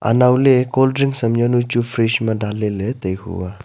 anowley cold drink ham yawnu chu fridge ma danley ley tai hua.